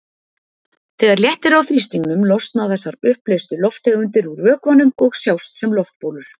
Þegar léttir á þrýstingnum losna þessar uppleystu lofttegundir úr vökvanum og sjást sem loftbólur.